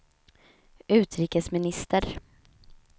utrikesminister